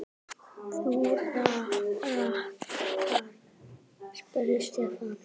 Þú ratar? spurði Stefán.